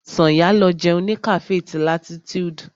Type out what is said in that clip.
Sànyà lọ jẹun ní cafe ti latitude.